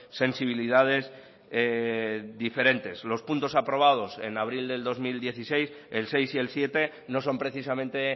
sensibilidades diferentes los puntos aprobados en abril de dos mil dieciséis el seis y el siete no son precisamente